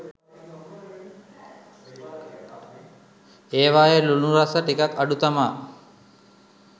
ඒවායේ ලුණු රස ටිකක් අඩු තමා